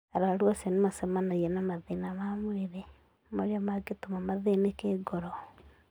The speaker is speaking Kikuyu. Arũaru acio nĩ macemanagia na mathĩna ma mwĩrĩ marĩa mangĩtũma mathĩnĩkĩ ngoro.